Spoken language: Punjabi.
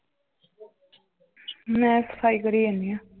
ਮੈਂ ਸਫਾਈ ਕਰੀ ਜਾਨੀ ਆ l